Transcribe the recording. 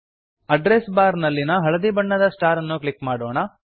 address bar ನಲ್ಲಿನ ಹಳದಿ ಬಣ್ಣದ ಸ್ಟಾರನ್ನು ಕ್ಲಿಕ್ ಮಾಡೋಣ